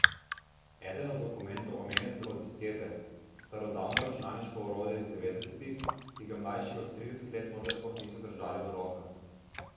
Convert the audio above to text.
Eden od dokumentov omenja celo diskete, starodavno računalniško orodje iz devetdesetih, ki ga mlajši od trideset let morda sploh niso držali v rokah.